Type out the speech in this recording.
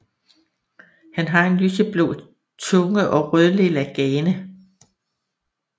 Han har en lyseblå tunge og rødlilla gane